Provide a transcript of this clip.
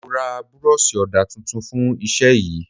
Mo ra buroosi ọdà tuntun fún Iṣẹ́ yìí.